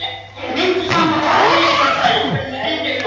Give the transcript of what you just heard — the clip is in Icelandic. Minntist hann á, hvaða fyrirtæki þetta væru? spurði Friðrik loks.